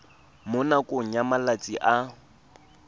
mo nakong ya malatsi a